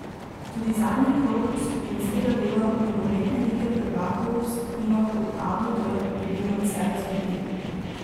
Tudi zadnji krog skupinskega dela nogometne lige prvakov v skupinah od A do D je bil nadvse razburljiv.